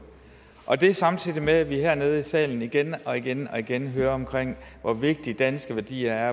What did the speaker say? og det er samtidig med at vi hernede i salen igen og igen og igen hører hvor vigtige de danske værdier er